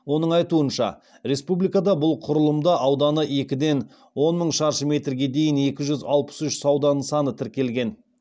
оның айтуынша республикада бұл құрылымда ауданы екіден он мың шаршы метрге дейінгі екі жүз алпыс үш сауда нысаны тіркелген